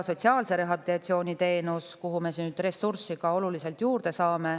Sotsiaalse rehabilitatsiooni teenusele saame nüüd ka ressurssi oluliselt juurde.